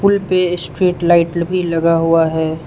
पुल पे street light भी लगा हुआ है।